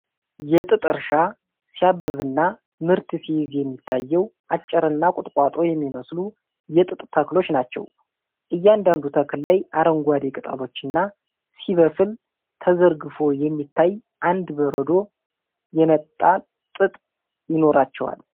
የጥጥ እርሻ ሲያብብና ምርት ሲይዝ የሚታየው አጭርና ቁጥቋጦ የሚመስሉ የጥጥ ተክሎች ናቸው። እያንዳንዱ ተክል ላይ አረንጓዴ ቅጠሎችና፣ ሲበስል ተዘርግፎ የሚታይ እንደ በረዶ የነጣ ጥጥ ይኖራቸዋል።